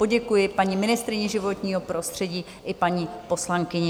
Poděkuji paní ministryni životního prostředí i paní poslankyni.